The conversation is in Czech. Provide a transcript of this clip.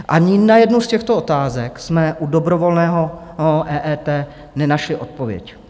Ani na jednu z těchto otázek jsme u dobrovolného EET nenašli odpověď.